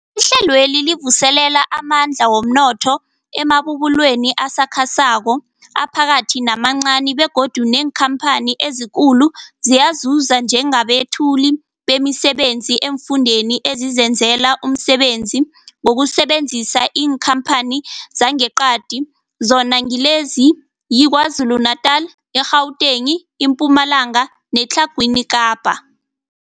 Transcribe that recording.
Ihlelweli livuselela amandla womnotho emabubulweni asakhasako, aphakathi namancani begodu neenkhamphani ezikulu ziyazuza njengabethuli bemisebenzi eemfundeni ezizenzela umsebenzi ngokusebenzisa iinkhamphani zangeqadi, zona ngilezi, yiKwaZulu-Natala, i-Gauteng, iMpumalanga neTlhagwini Kapa.